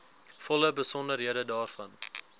volle besonderhede daarvan